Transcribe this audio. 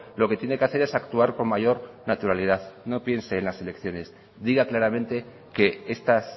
lo que tiene que hacer es actuar con mayor naturalidad no piense en las elecciones diga claramente que estas